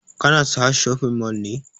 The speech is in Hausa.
Ka na sahad shopping mall ne?